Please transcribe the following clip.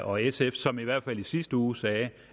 og sf som i hvert fald i sit sidste uge sagde